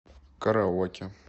караоке